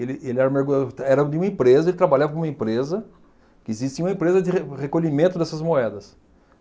Ele ele era mergulhador, era de uma empresa, ele trabalhava numa empresa, que existia uma empresa de re recolhimento dessas moedas.